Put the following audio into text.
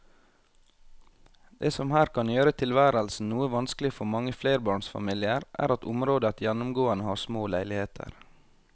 Det som her kan gjøre tilværelsen noe vanskelig for mange flerbarnsfamilier er at området gjennomgående har små leiligheter.